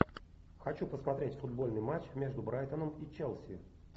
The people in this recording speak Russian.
хочу посмотреть футбольный матч между брайтоном и челси